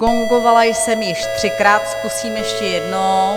Gongovala jsem již třikrát, zkusím ještě jednou.